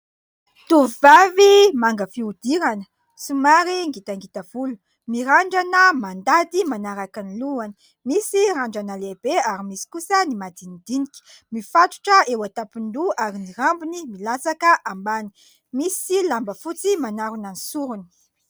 Tovovavy manga fihodirana, somary ngitangita volo. Mirandrana mandady manaraka ny lohany, misy randrana lehibe ary misy kosa ny madinidinika. Mifatotra eo an-tampon-doha ary ny rambony milatsaka ambany. Misy lamba fotsy manarona ny sorony.